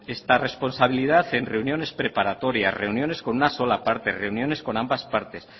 esta responsabilidad en reuniones preparatorias reuniones con una sola parte reuniones con ambas partes